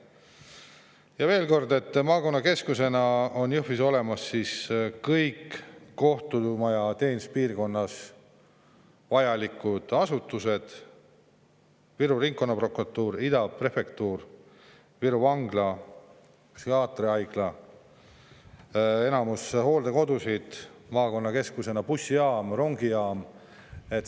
Kordan veel, et maakonnakeskusena on Jõhvis olemas kõik kohtumaja teeninduspiirkonnas vajalikud asutused: Viru Ringkonnaprokuratuur, Ida prefektuur, Viru Vangla, psühhiaatriahaigla, enamik hooldekodusid, maakonna keskne bussijaam, rongijaam.